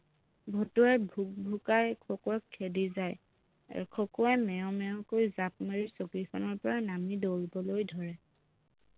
ভতুৱাই ভুক ভুকাই খকুৱাক খেদি যায়, খকুৱাই মেও মেও কৈ জাপ মাৰি চকীখনৰ পৰা নামি দৌৰিবলৈ ধৰে